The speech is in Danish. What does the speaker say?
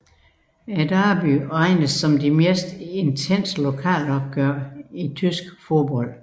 Derbyet regnes som det mest intense lokalopgør i tysk fodbold